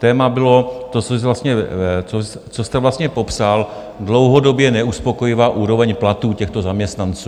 Téma bylo to, co jste vlastně popsal, dlouhodobě neuspokojivá úroveň platů těchto zaměstnanců.